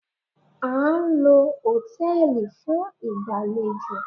A ń lo hòtẹ́ẹ̀lì fún ìgbàlejò